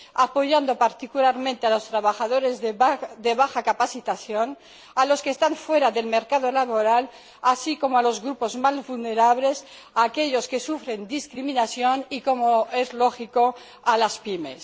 apoyando particularmente a los trabajadores de baja capacitación, a los que están fuera del mercado laboral, así como a los grupos más vulnerables, a aquéllos que sufren discriminación y, como es lógico, a las PYME.